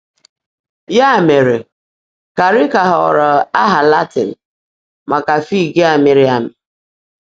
Ya mere, carica ghọrọ aha Latin maka fig a mịrị amị.